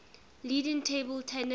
leading table tennis